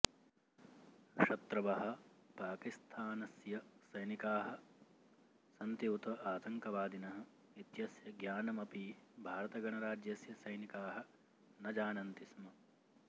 शत्रुवः पाकिस्थानस्य सैनिकाः सन्ति उत आतङ्कवादिनः इत्यस्य ज्ञानमपि भारतगणराज्यस्य सैनिकाः न जानन्ति स्म